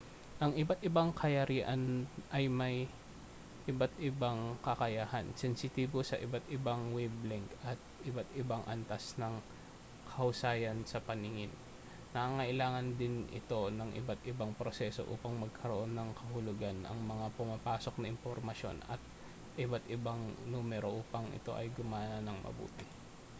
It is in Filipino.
ang iba't ibang kayarian ay may iba't ibang kakayahan sensitibo sa iba't ibang wave-length at may iba't ibang antas ng kahusayan sa paningin nangangailangan din ito ng iba't ibang proseso upang magkaroon ng kahulugan ang mga pumapasok na impormasyon at ang iba't ibang numero upang ito ay gumana nang mabuti